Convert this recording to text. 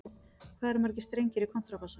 Hvað eru margir strengir í kontrabassa?